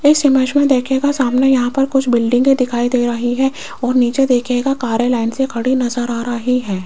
इस इमेज मे देखियेगा सामने यहां पर कुछ बिल्डिंगे दिखाई दे रही है और नीचे देखियेगा कारें लाइन से खड़ी नज़र आ रही है।